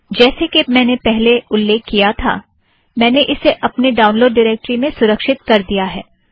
जैसे के मैंने पहले उल्लेख किया था - मैंने इसे अपने ड़ाउनलोड़ ड़िरेक्टरी में सुरक्षित कर दिया है